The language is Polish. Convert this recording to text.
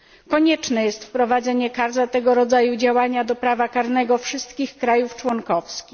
Konieczne jest wprowadzenie kar za tego rodzaju działania do prawa karnego wszystkich krajów członkowskich.